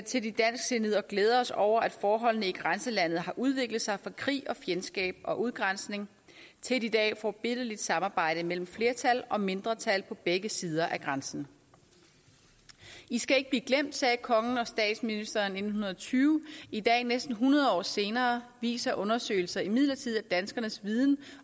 til de dansksindede og glæder os over at forholdene i grænselandet har udviklet sig fra krig og fjendskab og udgrænsning til et i dag forbilledligt samarbejde mellem flertal og mindretal på begge sider af grænsen i skal ikke blive glemt sagde kongen og statsministeren i nitten tyve i dag næsten hundrede år senere viser undersøgelser imidlertid at danskernes viden